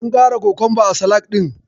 An ƙara kokonba a salak ɗin.